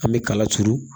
An bɛ kala turu